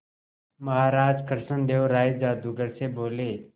महाराज कृष्णदेव राय जादूगर से बोले